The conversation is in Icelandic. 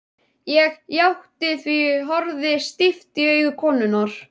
Ég játti því, horfði stíft í augu konunnar.